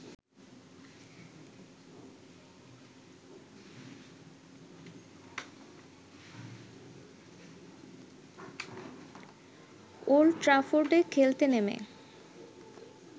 old ট্র্যাফোর্ডে খেলতে নেমে